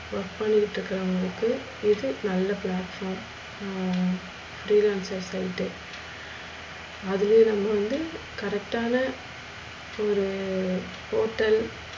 work பண்ணிட்டு இருக்குறவுங்களுக்கு இது நல்ல platform அஹ் free launce அதுவே நம்ம வந்து correct ஆனா ஒரு portel